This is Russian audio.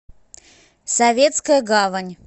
советская гавань